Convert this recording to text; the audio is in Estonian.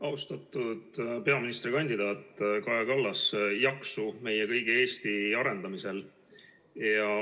Austatud peaministrikandidaat Kaja Kallas, jaksu meie kõigi Eesti arendamisel!